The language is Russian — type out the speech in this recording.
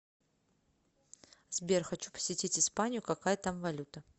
сбер хочу посетить испанию какая там валюта